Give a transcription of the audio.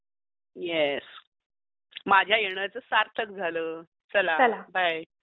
Yes, माझ्या येण्याच सार्थक झाल, चला बाय.